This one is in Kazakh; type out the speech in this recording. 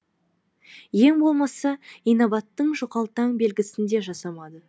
ең болмаса инабаттың жұқалтаң белгісін де жасамады